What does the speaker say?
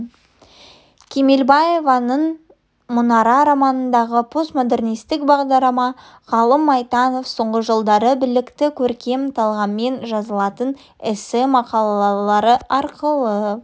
кемелбаеваның мұнара романындағы постмоденрнисттік бағдарды ғалым майтанов соңғы жылдары білікті көркем талғаммен жазылатын эссе мақалалары арқылы